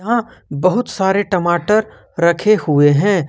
यहां बहुत सारे टमाटर रखे हुए हैं।